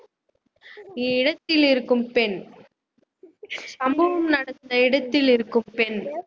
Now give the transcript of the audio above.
இடத்தில் இருக்கும் பெண் சம்பவம் நடந்த இடத்தில் இருக்கும் பெண்